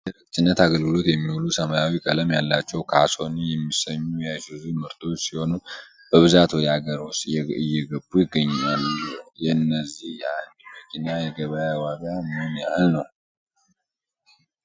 ለደረቅ ጭነት አገልግሎት የሚውሉ ሰማያዊ ቀለም ያላቸው ካሶኒ የሚሰኙ የአይሱዙ ምርቶች ሲሆኑ። በብዛት ወደ አገር ውስጥ እየገቡ ይገኛሉ። የእነዚህ የአንድ መኪና የገበያ ዋጋው ምን ያህል ነው?